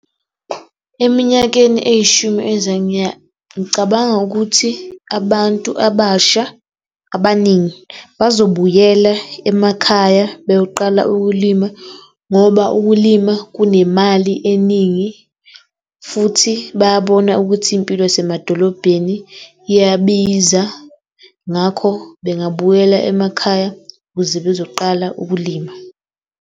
Eminyakeni eyishumi ngicabanga ukuthi abantu abasha abaningi bazobuyela emakhaya beyoqala ukulima ngoba ukulima kunemali eningi futhi bayabona ukuthi impilo yasemadolobheni iyabiza. Ngakho, bengabuyela emakhaya ukuze bezoqala ukulima.